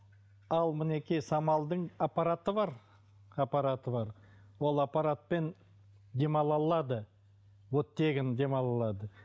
ал мінекей самалдың аппараты бар аппараты бар ол аппаратпен дем ала алады оттегін дем ала алады